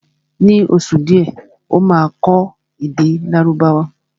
Ní oṣù díẹ̀ Ó máa kọ́ èdè Lárúbáwá